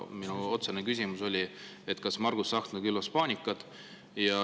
Minu otsene küsimus oli, kas Margus Tsahkna külvas paanikat.